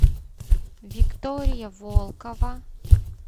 виктория волкова